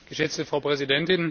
Frau Präsidentin!